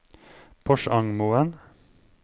Porsangmoen